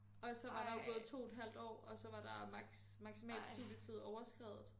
Og så var der jo gået 2 et halvt år og så var der maks maksimal studietid overskredet